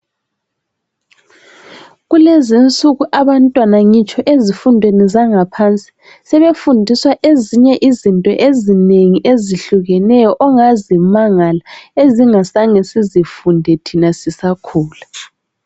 Kulezinsuku abantwana, ngitsho ezifundweni zangaphansi. Sebefundiswa ezinye izinto ezinengi, ezihlukeneyo, ongazimangala. Esingazange, sizifunde thina sisakhula.